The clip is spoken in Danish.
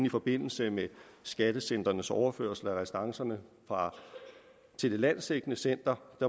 i forbindelse med skattecentrenes overførsel af restancerne til det landsdækkende center